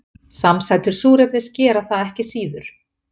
Samsætur súrefnis gera það ekki síður.